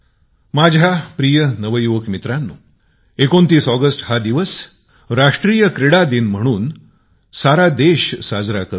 माझ्या प्रिय नवजवान मित्रांनो २९ ऑगस्टला पूर्ण देश राष्ट्रीय खेळ दिवस म्हणून साजरा करीत असतो